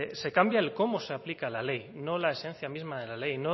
se cambia el cómo se aplica la ley no la esencia misma de la ley